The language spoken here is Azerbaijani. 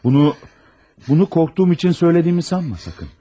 Bunu, bunu qorxduğum üçün söylədiyimi sanma sakın.